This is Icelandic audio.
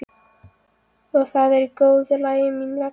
Og það er í góðu lagi mín vegna.